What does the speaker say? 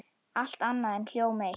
Allt annað er hjóm eitt.